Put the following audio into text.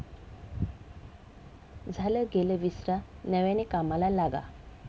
झालं गेलं विसरा नव्याने कामाला लागा'